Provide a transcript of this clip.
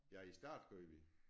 Ja i starten gjorde vi